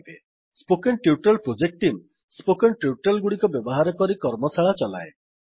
spoken tutorial project team spoken tutorial ଗୁଡିକ ବ୍ୟବହାର କରି କର୍ମଶାଳା ଚଲାଏ